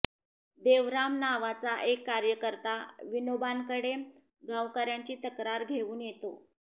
देवराम नावाचा एक कार्यकर्ता विनोबांकडे गावकऱ्यांची तक्रार घेऊन येतो